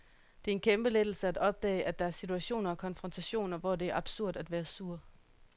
Det er en kæmpe lettelse at opdage, at der er situationer og konfrontationer, hvor det er absurd at være sur.